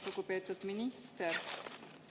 Lugupeetud minister!